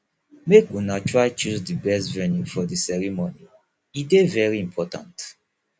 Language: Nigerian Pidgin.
make una try choose di best venue for di ceremony e dey important